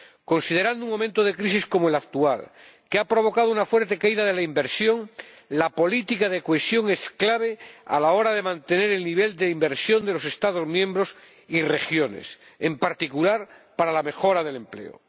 Considerando un momento de crisis como el actual, que ha provocado una fuerte caída de la inversión, la política de cohesión es clave a la hora de mantener el nivel de inversión de los Estados miembros y sus regiones, en particular, para la mejora del empleo.